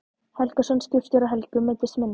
Helgason, skipstjóri á Helgustöðum, meiddist minna.